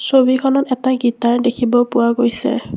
ছবিখনত এটা গীটাৰ দেখিব পোৱা গৈছে।